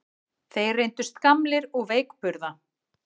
Þeir reyndust gamlir og veikburða